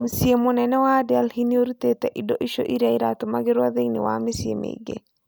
Mũcii mũnene wa Delhi nĩũrutĩte indo icio irĩa iratumagĩrwa thĩini wa mĩcĩi mingĩ